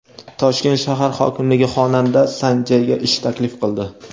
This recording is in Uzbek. Toshkent shahar hokimligi xonanda San Jay’ga ish taklif qildi.